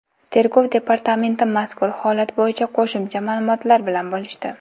Tergov departamenti mazkur holat bo‘yicha qo‘shimcha ma’lumotlar bilan bo‘lishdi .